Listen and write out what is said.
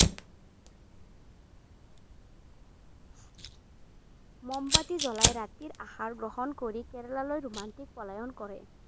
মমবাতি জ্বলাই ৰাতিৰ আহাৰ গ্ৰহণ কৰি কেৰেলালৈ ৰোমান্টিক পলায়ন কৰে।